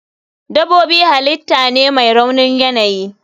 Dabobi halitah ne mai raunin yanayi.